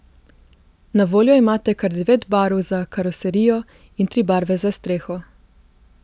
Na voljo imate kar devet barv za karoserijo in tri barve za streho.